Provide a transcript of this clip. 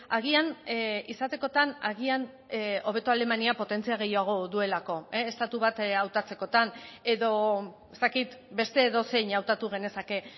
agian izatekotan agian hobeto alemania potentzia gehiago duelako estatu bat hautatzekotan edo ez dakit beste edozein hautatu genezake